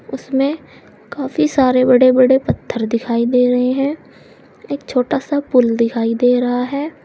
उसमें काफी सारे बड़े बड़े पत्थर दिखाई दे रहे हैं एक छोटा सा पुल दिखाई दे रहा है।